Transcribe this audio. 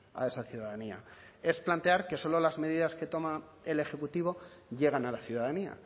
a esa ciudadanía es plantear que solo las medidas que toma el ejecutivo llegan a la ciudadanía